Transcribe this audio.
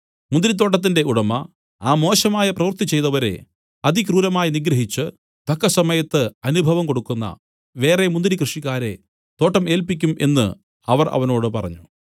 മുന്തിരിത്തോട്ടത്തിന്റെ ഉടമ ആ മോശമായ പ്രവൃത്തി ചെയ്തവരെ അതിക്രൂരമായി നിഗ്രഹിച്ച് തക്കസമയത്ത് അനുഭവം കൊടുക്കുന്ന വേറെ മുന്തിരി കൃഷിക്കാരെ തോട്ടം ഏല്പിക്കും എന്നു അവർ അവനോട് പറഞ്ഞു